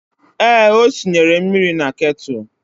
Ee, o sinyere mmiri na ketụlụ